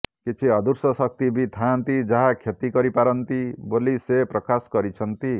କିଛି ଅଦୃଶ୍ୟ ଶକ୍ତି ବି ଥାଆନ୍ତି ଯାହା କ୍ଷତି କରି ପାରନ୍ତି ବୋଲି ସେ ପ୍ରକାଶ କରିଛନ୍ତି